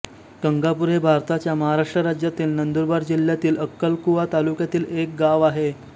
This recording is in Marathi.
गंगापूर हे भारताच्या महाराष्ट्र राज्यातील नंदुरबार जिल्ह्यातील अक्कलकुवा तालुक्यातील एक गाव आहे